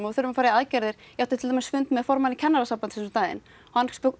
þurfum að fara í aðgerðir ég átti til dæmis fund með formanni Kennarasambandsins um daginn hann